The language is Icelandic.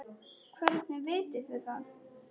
Hvernig vitið þið það?